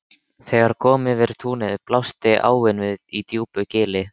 Þegar kom yfir túnið blasti áin við í djúpu gili.